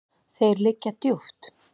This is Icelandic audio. Þeir liggja djúpt.